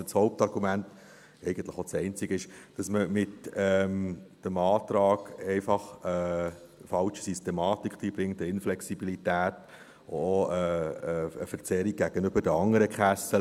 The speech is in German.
Das Hauptargument – eigentlich auch das einzige – ist, dass man mit dem Antrag einfach eine falsche Systematik hineinbringt, eine Inflexibilität, auch eine Verzerrung gegenüber den anderen Kassen.